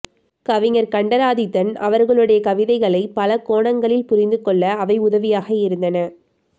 கவிஞர் கண்டராதித்தன் அவர்களுடைய கவிதைகளை பலகோணங்களில் புரிந்துகொள்ள அவை உதவியாக இருந்தன